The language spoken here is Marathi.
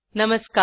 नमस्कार